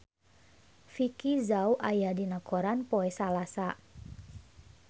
Vicki Zao aya dina koran poe Salasa